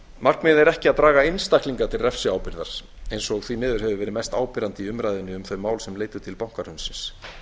markmiðið er ekki að draga einstaklinga til refsiábyrgðar eins og því miður hefur verið mest áberandi í umræðunni um þau mál sem leiddu til bankahrunsins